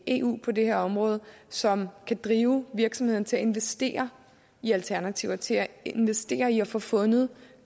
eu på det her område som kan drive virksomhederne til at investere i alternativer til at investere i at få fundet